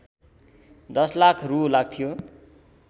१० लाख रू लाग्थ्यो